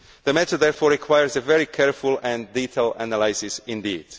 The matter therefore requires a very careful and detailed analysis indeed.